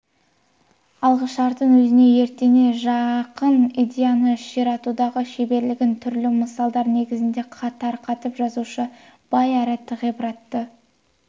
алғышартын өзіне етене жақын идеяны ширатудағы шеберлігін түрлі мысалдар негізінде тарқатып жазушының бай әрі ғибратты